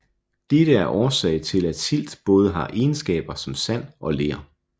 Dette er årsag til at silt både har egenskaber som sand og ler